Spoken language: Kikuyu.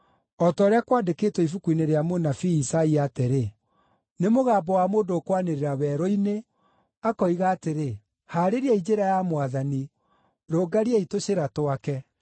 O ta ũrĩa kwandĩkĩtwo ibuku-inĩ rĩa mũnabii Isaia atĩrĩ: “Nĩ mũgambo wa mũndũ ũkwanĩrĩra werũ-inĩ, akoiga atĩrĩ, ‘Haarĩriai njĩra ya Mwathani, rũngariai tũcĩra twake.